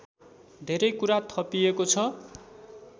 धेरै कुरा थपिएको छ